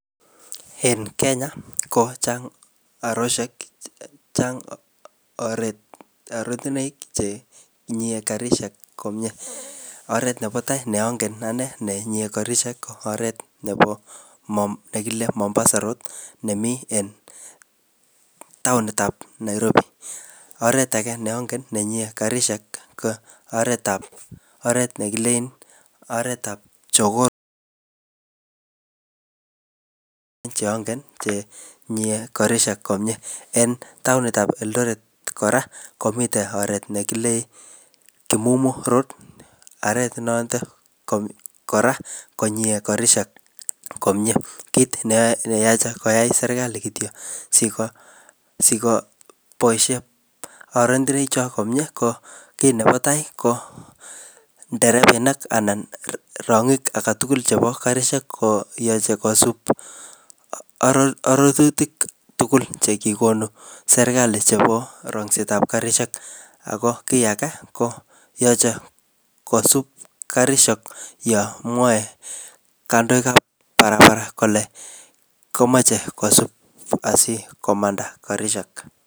En Kenya, kochang oreshek, chang oretinoik ne chenyie karishek komyee. Oret nebo tai ne angen anee ne nyie karishek ko oret nebo, ne kile Mombasa Road nemii en taonitab Nairobi. Oret age ne angen nenyie karishek ko oret ne kilen oretab Jogoo Road che angen che nyie karishek komyee. En taonitab Eldoret kora, komitey oret ne kile Kimumu Road. Oret notok kora, konyie karishek komyee. Kit ne yache koyai serikali kityo siko, sikoboisie orendiroik cho komyee, ko kiy nebo tai ko nderebainik anan rongik age tugul chebo karishek koyache kosub orotutik tugul che kikonu serikali chebo rongsetab karishek. Ako kiy age, ko yache kosub karishek yamwae kandoikab barabara kole yache kosub asikomanda karishek.